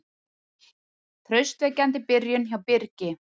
Traustvekjandi byrjun hjá Birgi